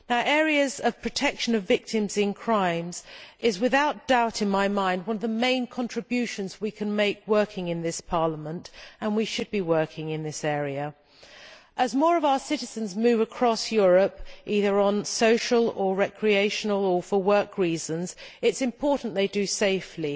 Areas of protection for victims of crimes are, without doubt in my mind, among the main contributions we can make working in this Parliament, and we should be working in this area. As more of our citizens move across Europe for social, recreational or work reasons, it is important that they do so safely,